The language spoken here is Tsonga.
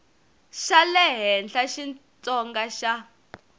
xa le henhla xitsonga xa